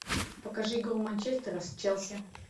покажи игру манчестера с челси